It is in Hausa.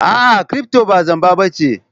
A'a, kirifto ba zamba ba ce.